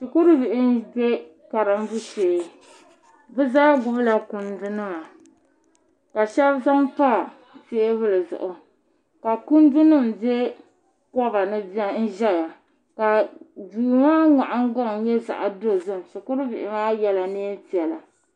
Shikuru bihi m be karimbu shee bɛ zaa gbibila kundu nima ka sheba zaŋ pa teebuli zuɣu ka kundu nima be kobani ʒɛya ka duu maa nahingbaŋna nyɛ zaɣa dozim shukuru bihi maa yela niɛn'piɛla.